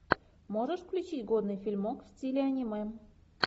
можешь включить годный фильмок в стиле аниме